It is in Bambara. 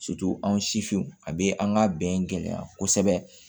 anw sifinw a bɛ an ka bɛn gɛlɛya kosɛbɛ